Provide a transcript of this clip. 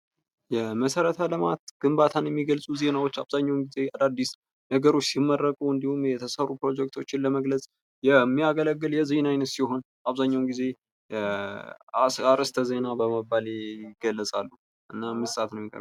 የመሠረተ ልማት ግንባታን የሚገልጹ ዜናዎች አብዛኛውን ጊዜ አዳዲስ ነገሮች ሲመረቁ እንዲሁም፤ የተሰሩ ፕሮጀክቶችን ለመግለፅ የሚያገለግል የዜና ዓይነት ሲሆን ፣አብዛኛውን ጊዜ አርዕስተ ዜና በመባል ይገልጻሉ። እና 5 ሰአት ነው የሚቀርበው።